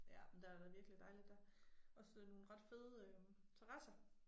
Ja men der da virkelig dejligt der. Også nogle ret fede øh terrasser